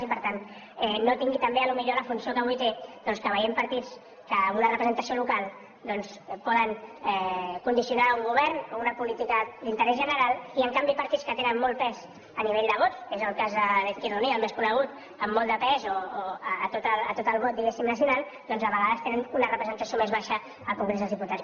i per tant no tingui també potser la funció que avui té doncs que veiem partits que amb una representació local poden condicionar un govern o una política d’interès general i en canvi partits que tenen molt pes a nivell de vots és el cas d’izquierda unida el més conegut amb molt de pes a tot el vot diguéssim nacional a vegades tenen una representació més baixa al congrés dels diputats